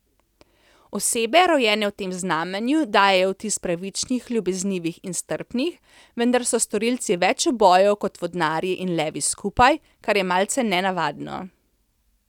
Osebe rojene v tem znamenju dajejo vtis pravičnih, ljubeznivih in strpnih, vendar so storilci več ubojev kot vodnarji in levi skupaj, kar je malce nenavadno.